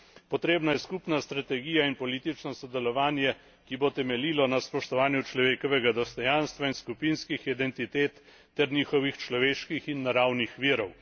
Potrebna je skupna strategija in politično sodelovanje, ki bo temeljilo na spoštovanju človekovega dostojanstva in skupinskih identitet ter njihovih človeških in naravnih virov.